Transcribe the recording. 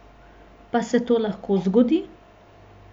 Pa se to lahko zgodi?